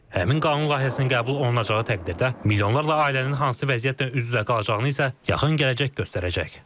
Həmin qanun layihəsinin qəbul olunacağı təqdirdə milyonlarla ailənin hansı vəziyyətlə üz-üzə qalacağını isə yaxın gələcək göstərəcək.